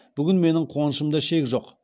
бүгін менің қуанышымда шек жоқ